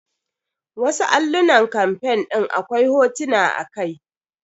Wasu allunan campaing ɗin akwai hotuna a kai.